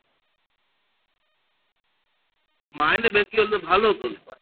মাইনে বেশি হলে ভালো তো